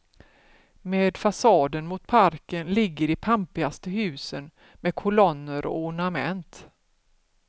Med fasaden mot parken ligger de pampigaste husen med kolonner och ornament.